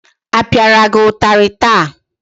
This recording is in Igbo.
A pịara gị ụtarị taa?